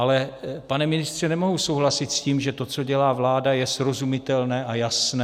Ale, pane ministře, nemohu souhlasit s tím, že to, co dělá vláda je srozumitelné a jasné.